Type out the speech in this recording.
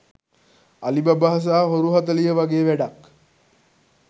අලි බබා සහ හොරු හතලිහ වගේ වැඩක්.